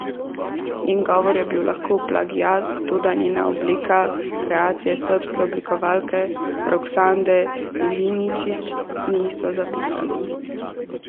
Njen govor je bil lahko plagiat, toda njena obleka, kreacija srbske oblikovalke Roksande Ilinčić, ni, so zapisali.